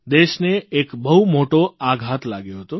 દેશને એક બહુ મોટો આઘાત લાગ્યો હતો